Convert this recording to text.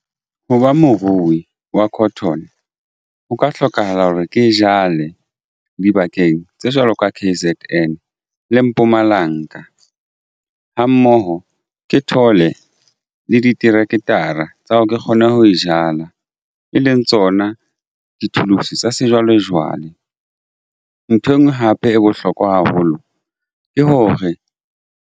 Ho ba morui wa cotton ho ka hlokahala hore ke jale dibakeng tse jwalo ka KZN le Mpumalanga ha mmoho ke thole le di-tractor tsa hore ke kgone ho e jala e leng tsona di-tools tsa sejwalejwale. Nthwe enngwe hape e bohlokwa haholo ke hore.